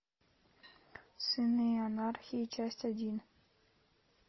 сыны анархии часть один